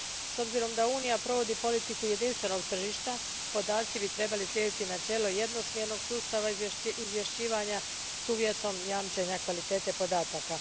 S obzirom na to da Unija provodi politiku jedinstvenog tržišta, podaci bi trebali slijediti načelo jednosmjernog sustava izvješćivanja s uvjetom jamčenja kvalitete podataka.